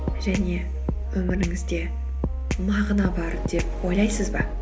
және өміріңізде мағына бар деп ойлайсыз ба